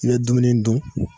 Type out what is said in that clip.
Ni ye dumuni dun